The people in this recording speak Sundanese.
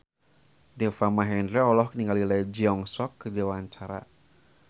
Deva Mahendra olohok ningali Lee Jeong Suk keur diwawancara